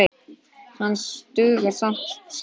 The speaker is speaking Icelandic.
Hann dugar skammt.